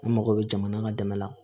An mago bɛ jamana ka dɛmɛ la